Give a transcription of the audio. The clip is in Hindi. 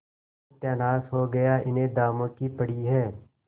सत्यानाश हो गया इन्हें दामों की पड़ी है